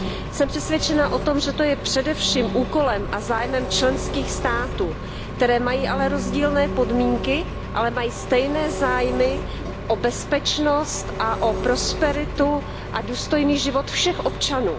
Jsem přesvědčena o tom, že to je především úkolem a zájmem členských států, které mají ale rozdílné podmínky, ale mají stejné zájmy o bezpečnost a o prosperitu a důstojný život všech občanů.